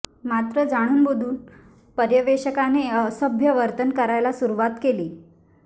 मात्र जाणूनबुजून पर्यवेक्षकाने असभ्य वर्तन करायला सुरुवात केली